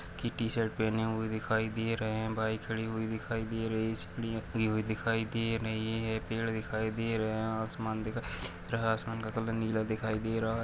T-shirt पहने हुए दिखाई दे रहे है बाईक खड़ी हुइ दिखाई दे रही है इसमें हुई दिखाई दे रही है पेड़ दिखाई दे रहे है आसमान दिखाई रहा-- आसमान का कलर नीला दिखाई दे रहा है।